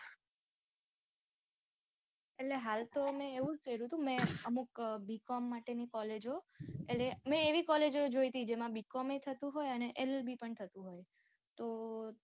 એટલે હાલ તો મેં એવું જ કર્યું હતું, મેં હાલ તો અમુક B. com માટે ની કોલેજો. એટલે મેં એવી કોલેજો જોઈ ટી જેમા B. com ય થતું હોય અને LLB પણ થતું હોય. તો